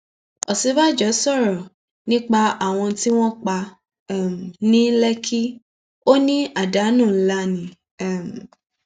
òsínbàjò sọrọ nípa àwọn tí wọn pa um ní lékì ò ní àdánù ńlá ni um